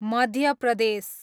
Madhya Pradesh